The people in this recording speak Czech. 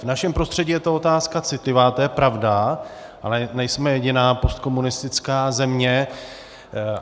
V našem prostředí je to otázka citlivá, to je pravda, ale nejsme jediná postkomunistická země.